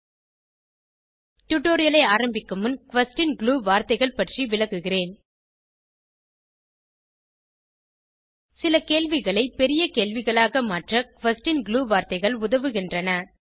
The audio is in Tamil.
httpspoken tutorialorg டுடோரியலை ஆரம்பிக்கும் முன் குயஸ்ஷன் குளூ வார்த்தைகள் பற்றி விளக்குகிறேன் சிறி கேள்விகளை பெரிய கேள்விகளாக மாற்ற குயஸ்ஷன் குளூ வார்த்தைகள் உதவுகின்றன